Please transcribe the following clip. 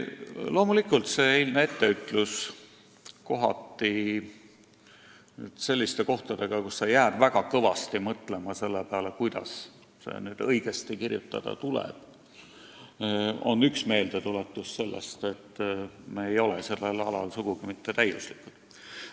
Loomulikult oli eilne etteütlus selliste kohtadega, kus tuli väga kõvasti mõelda selle peale, kuidas seda nüüd õigesti kirjutada, üks meeldetuletus, et me ei ole sellel alal sugugi mitte täiuslikud.